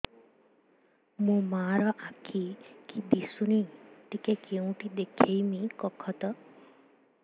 ମୋ ମା ର ଆଖି କି ଦିସୁନି ଟିକେ କେଉଁଠି ଦେଖେଇମି କଖତ